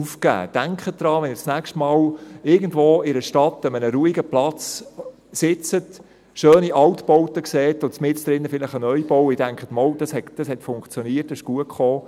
Denken Sie daran, wenn Sie das nächste Mal in irgendeiner Stadt an einem ruhigen Platz sitzen, schöne Altbauten sehen und mittendrin ein Neubau steht, und Sie denken: «Ja, dies hat funktioniert, dies ist gut herausgekommen».